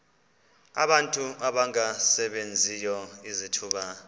abantu abangasebenziyo izithuba